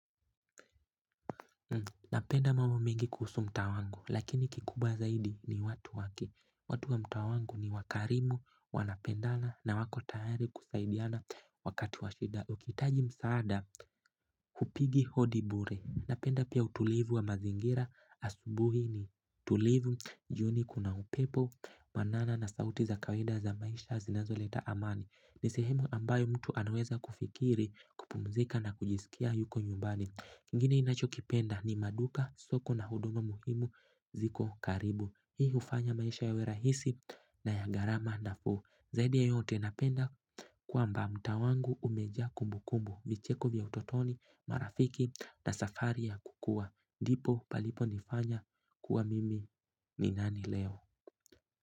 Napenda mambo mengi kuhusu mtaa wangu lakini kikubwa zaidi ni watu wake, watu wa mtaa wangu ni wakarimu wanapendana na wako tayari kusaidiana wakati wa shida. Ukiitaji msaada upigi hodi bure napenda pia utulivu wa mazingira asubuhi ni tulivu jioni kuna upepo manana na sauti za kawaida za maisha zinazoleta amani ni sehemu ambayo mtu anaweza kufikiri kupumzika na kujisikia yuko nyumbani kingine ninachokipenda ni maduka, soko na huduma muhimu ziko karibu. Hii ufanya maisha yawe rahisi na ya gharama nafuu. Zaidi ya yote napenda kwamba mtaa wangu umejaa kumbukumbu. Vicheko vya utotoni, marafiki na safari ya kukua. Ndipo palipo nifanya kuwa mimi ni nani leo.